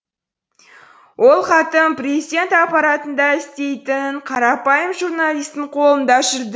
ол хатым президент аппаратында істейтін қарапайым журналистің қолында жүрді